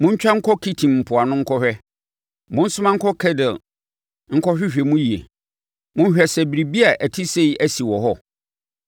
Montwa nkɔ Kitim mpoano nkɔ hwɛ, monsoma nkɔ Kedar nkɔhwehwɛ mu yie; monhwɛ sɛ biribi a ɛte sei asi wɔ hɔ: